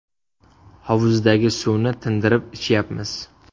Hovuzdagi suvni tindirib ichyapmiz.